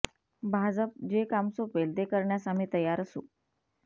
भाजप जे काम सोपवेल ते करण्यास आम्ही तयार असू